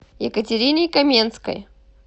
екатерине каменской